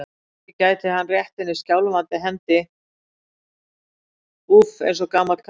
Ekki gæti hann rétt henni skjálfandi hendi, úff, eins og gamall karl.